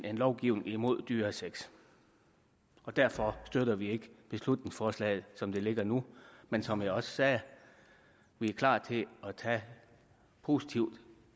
en lovgivning imod dyresex og derfor støtter vi ikke beslutningsforslaget som det ligger nu men som jeg også sagde er vi klar til at tage positivt